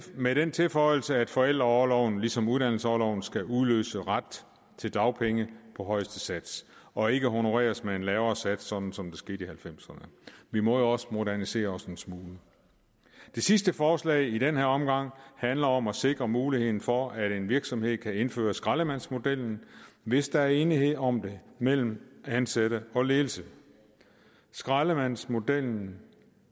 med den tilføjelse at forældreorloven ligesom uddannelsesorloven skal udløse ret til dagpenge på højeste sats og ikke honoreres med en lavere sats sådan som det skete i nitten halvfemserne vi må jo også modernisere os en smule det sidste forslag i den her omgang handler om at sikre muligheden for at en virksomhed kan indføre skraldemandsmodellen hvis der er enighed om det mellem ansatte og ledelse skraldemandsmodellen